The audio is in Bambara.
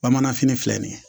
Bamanan fini filɛ nin ye